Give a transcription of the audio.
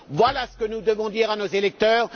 Voilà ce que nous devons dire à nos électeurs.